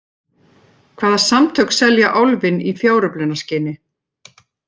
Hvaða samtök selja Álfinn í fjáröflunarskyni?